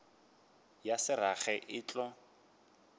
ya se rage e tlo